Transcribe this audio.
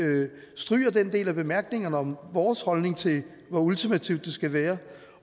stryge den del af bemærkningerne om vores holdning til hvor ultimativt det skal være